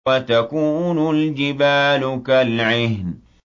وَتَكُونُ الْجِبَالُ كَالْعِهْنِ